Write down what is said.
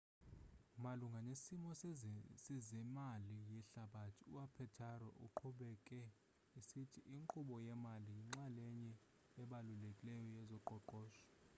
malunga nesimo sezemali yehlabathi u-apatero uqhubeke esithi inkqubo yemali yinxalenye ebalulekileyo yezoqoqosho